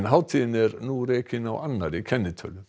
hátíðin er nú rekin á annarri kennitölu